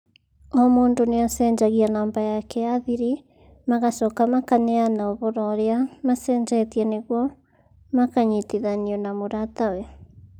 O mũndũ nĩacenjagia namba yake ya thiri, magacoka makaneana ũhoro ũrĩa macenjetie nĩguo makanyitithanio na mũratawe